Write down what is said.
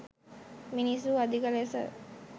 මිනිස්සු අධික ලෙස